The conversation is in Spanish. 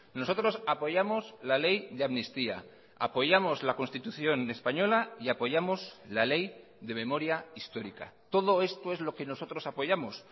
nosotros apoyamos la ley de amnistía apoyamos la constitución española y apoyamos la ley de memoria histórica todo esto es lo que nosotros apoyamos